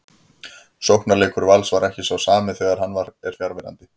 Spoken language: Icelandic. Sóknarleikur Vals er ekki sá sami þegar hann er fjarverandi.